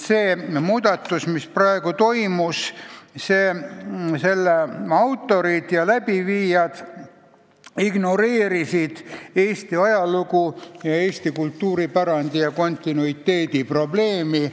Selle praegu tehtud muudatuse autorid ignoreerisid Eesti ajalugu, kultuuripärandi ja kontinuiteedi probleemi.